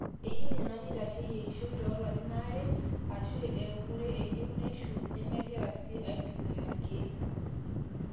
eyieu nena neitasheyie eishoi too larin aare aashu eekure eyieu neisho nemegira sii aaitumia irkeek